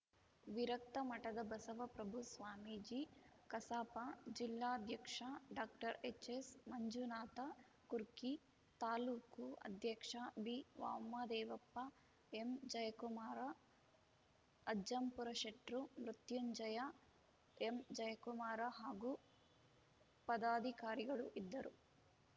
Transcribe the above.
ವಿರಕ್ತಮಠದ ಬಸವಪ್ರಭು ಸ್ವಾಮೀಜಿ ಕಸಾಪ ಜಿಲ್ಲಾಧ್ಯಕ್ಷ ಡಾಕ್ಟರ್ ಎಚ್‌ಎಸ್‌ಮಂಜುನಾಥ ಕುರ್ಕಿ ತಾಲ್ಲೂಕು ಅಧ್ಯಕ್ಷ ಬಿವಾಮದೇವಪ್ಪ ಎಂಜಯಕುಮಾರ ಅಜ್ಜಂಪುರಶೆಟ್ರು ಮೃತ್ಯುಂಜಯ ಎಂಜಯಕುಮಾರ ಹಾಗೂ ಪದಾಧಿಕಾರಿಗಳು ಇದ್ದರು